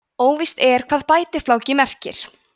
óvíst er hvað bætifláki merkir